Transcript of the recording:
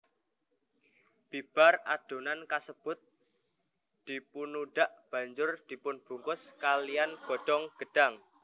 Bibar adonan kasebut dipunudhak banjur dipunbungkus kalihan godhong gedhang